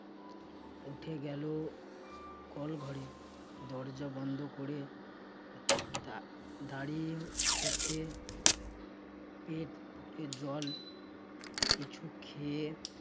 উঠে গেল কল ঘরে। দরজা বন্ধ করে দা~ দাঁড়িয়ে থেকে পেট ভরে জল কিছু খেয়ে